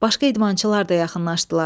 Başqa idmançılar da yaxınlaşdılar.